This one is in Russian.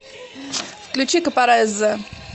включи капарезза